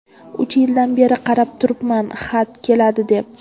Uch yildan beri qarab turibman xat keladi deb.